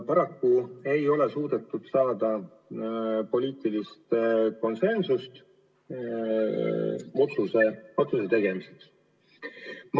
Paraku ei ole suudetud jõuda poliitilise konsensuseni otsuse tegemiseks.